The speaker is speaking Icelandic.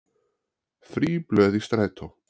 Frí blöð í strætó